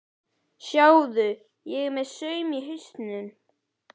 Sjáðu, ég er með saum í hausnum.